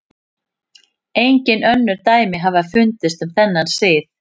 Engin önnur dæmi hafa fundist um þennan sið.